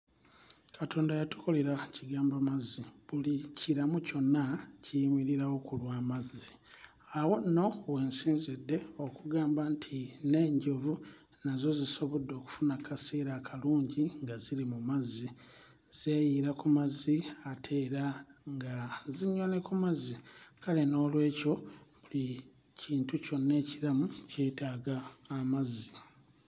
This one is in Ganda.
Katonda yatukolera kigambo mazzi buli kiramu kyonna kiyimirirawo ku lw'amazzi awo nno we nsinzidde okugamba nti n'enjovu nazo zisobodde okufuna kkaseera akalungi nga ziri mu mazzi zeeyiira ku mazzi ate era nga zinywa ne ku mazzi kale noolwekyo buli kintu kyonna ekiramu kyetaaga amazzi.